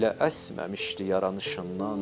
Belə əsməmişdi yaranışından.